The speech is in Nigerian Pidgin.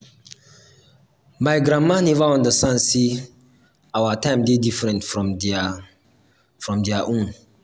my grandma neva understand sey our time dey different from their from their own.